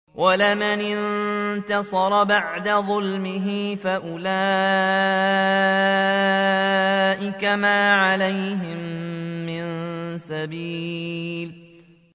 وَلَمَنِ انتَصَرَ بَعْدَ ظُلْمِهِ فَأُولَٰئِكَ مَا عَلَيْهِم مِّن سَبِيلٍ